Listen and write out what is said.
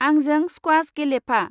आंजों स्क्वाश गेलेफा।